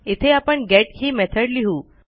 इथे आपण गेट ही मेथड लिहू